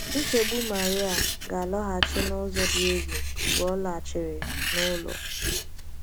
Nchegbu Maria ga - alọghachi n’ụzọ dị egwu mgbe ọ lachiri n’ụlọ.